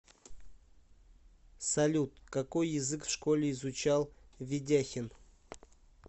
салют какой язык в школе изучал ведяхин